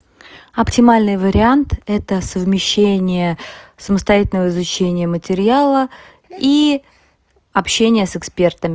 оптимальный вариант это совмещение самостоятельного изучения материала и общения с экспертами